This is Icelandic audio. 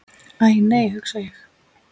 Æ, nei hugsa ég.